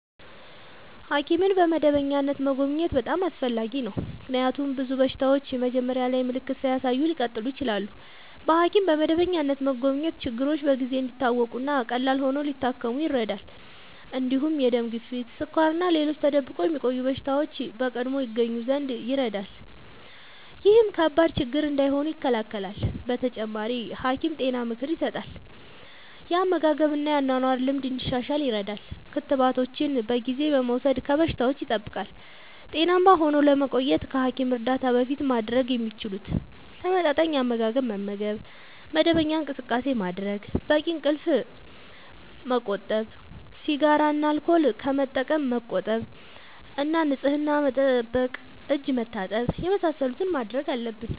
ሐኪምን በመደበኛነት መጎብኘት በጣም አስፈላጊ ነው፤ ምክንያቱም ብዙ በሽታዎች መጀመሪያ ላይ ምልክት ሳያሳዩ ሊቀጥሉ ይችላሉ። በሐኪም በመደበኛነት መጎብኘት ችግሮች በጊዜ እንዲታወቁ እና ቀላል ሆነው ሊታከሙ ይረዳል። እንዲሁም የደም ግፊት፣ ስኳር እና ሌሎች ተደብቆ የሚቆዩ በሽታዎች በቀድሞ ይገኙ ዘንድ ይረዳል። ይህም ከባድ ችግር እንዳይሆኑ ይከላከላል። በተጨማሪ፣ ሐኪም ጤና ምክር ይሰጣል፣ የአመጋገብ እና የአኗኗር ልምድ እንዲሻሻል ይረዳል። ክትባቶችን በጊዜ በመውሰድ ከበሽታዎች ይጠብቃል። ጤናማ ሆነው ለመቆየት ከሐኪም እርዳታ በፊት ማድረግ የሚችሉት፦ ተመጣጣኝ አመጋገብ መመገብ፣ መደበኛ እንቅስቃሴ ማድረግ፣ በቂ እንቅልፍ ማመቆጠብ፣ ሲጋራ እና አልኮል ከመጠቀም መቆጠብ እና ንጽህና መጠበቅ (እጅ መታጠብ ወዘተ) የመሳሰሉትን ማድረግ አለብን።